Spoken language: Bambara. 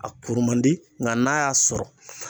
A kuru man di nga n'a y'a sɔrɔ